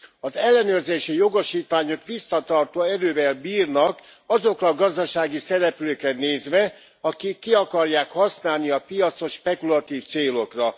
Az ellenőrzési jogosítványok visszatartó erővel bírnak azokra a gazdasági szereplőkre nézve, akik ki akarják használni a piacot spekulatív célokra.